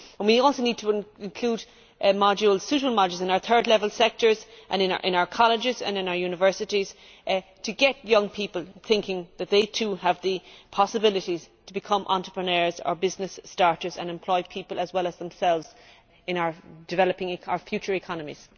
We also need to include suitable modules in our third level sectors and in our colleges and universities to get young people thinking that they too have the possibilities to become entrepreneurs or business starters and employ people as well as themselves in developing our future economies.